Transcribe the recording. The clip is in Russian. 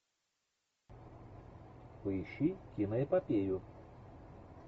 поищи киноэпопею